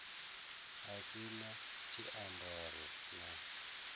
si na na tshiambaro na